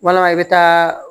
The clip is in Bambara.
Walama i bɛ taa